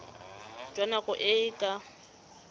jwa nako e e ka